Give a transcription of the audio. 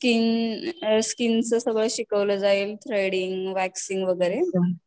त्याच्यामध्ये बेसिक आपल्याला skin hair च सगळं शिकवलं जाईल थ्रेडिंग वॅक्सिंग वगैरे